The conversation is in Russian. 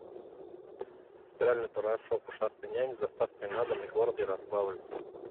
стиральный порошок ушастый нянь с доставкой на дом город ярославль